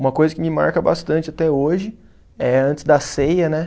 Uma coisa que me marca bastante até hoje é antes da ceia, né?